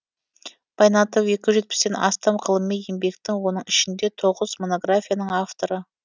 байнатов екі жүз жетпістен астам ғылыми еңбектің оның ішінде тоғыз монографияның авторы